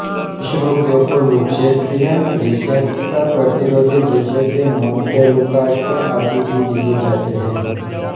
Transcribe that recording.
कुछ रोगियों को लुक्ज्ट्रीयेन रिसेप्टर प्रतिरोधी जैसे कि मोनतेलुकास्ट आदि भी दिए जाते हैं